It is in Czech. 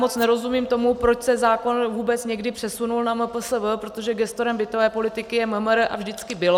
Moc nerozumím tomu, proč se zákon vůbec někdy přesunul na MPSV, protože gestorem bytové politiky je MMR a vždycky bylo.